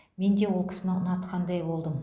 менде ол кісіні ұнатқандай болдым